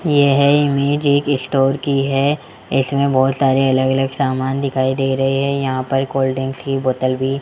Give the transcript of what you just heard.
यह इमेज एक स्टोर की है इसमें बहोत सारे अलग अलग समान दिखाई दे रहे हैं यहां पर कोल्ड ड्रिंकस की बोतल भी --